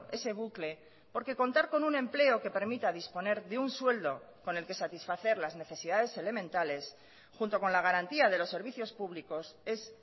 ese bucle porque contar con un empleo que permita disponer de un sueldo con el que satisfacer las necesidades elementales junto con la garantía de los servicios públicos es